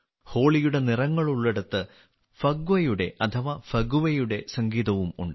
ഹോളിയുടെ നിറങ്ങളുള്ളിടത്ത് ഫഗ്വയുടെ അഥവാ ഫഗുവയുടെ സംഗീതവും ഉണ്ട്